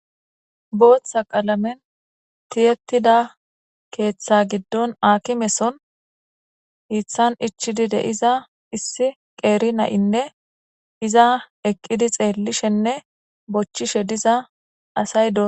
Booththa qalamen tiyetida keeththa giddon aakimeson iithan ichidi de'iza issi qeeri na'inne iza eqqidi xeellishenne bochchishe diza asay do.